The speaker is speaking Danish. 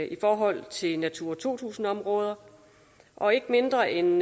i forhold til natura to tusind områder og ikke mindre end